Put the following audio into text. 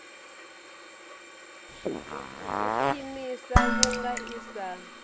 u khwiniswa vhunga i sa